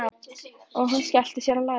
sagði hún og skellti sér á lær.